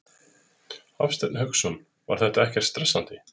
Hafsteinn Hauksson: Var þetta ekkert stressandi?